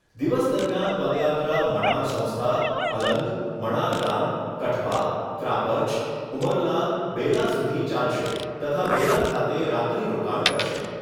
દિવસ દરમિયાન પદયાત્રા મણાર સંસ્થા, અલંગ, મણાર ગામ, કઠવા, ત્રાપજ, ઉમરલા, બેલા સુધી ચાલશે તથા બેલા ખાતે રાત્રી રોકાણ કરશે.